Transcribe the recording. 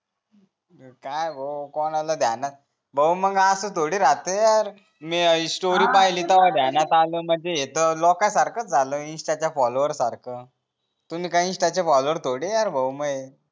काय भाऊ कोणाला ध्यानात भाऊ मग अस थोडीच राहते यार स्टोरी पाहली तवा ध्यानात आल म्हणजे येत लोका सारखच झालं इन्स्टा च्या फोल्लोवर सारखा तुम्ही काय इन्स्टा चे फोल्लोवर थोडी आहे यार मये